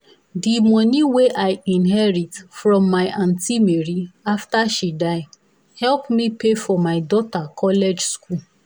the money wey i inherit from my aunty mary after she die help me pay for my daughter college school